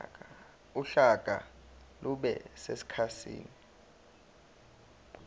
uhlaka lube sekhasini